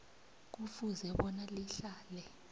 kufuze bona lihlale